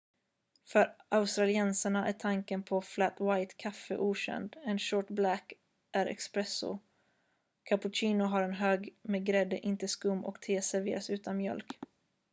"för australiensarna är tanken på ”flat white” kaffe okänd. en "short black" är "espresso" cappuccino har en hög med grädde inte skum och te serveras utan mjölk.